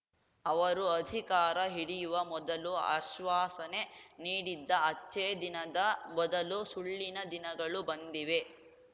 ಅವರು ಅಧಿಕಾರ ಹಿಡಿಯುವ ಮೊದಲು ಅಶ್ವಾಸನೆ ನೀಡಿದ್ದ ಅಚ್ಛೇದಿನದ ಬದಲು ಸುಳ್ಳಿನ ದಿನಗಳು ಬಂದಿವೆ